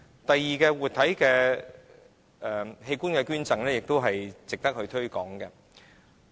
第二點，活體器官捐贈是值得推廣的。